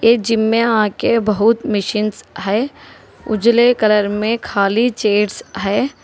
ये जिम आके बहुत मशीन्स है उजले कलर में खाली चेयर है।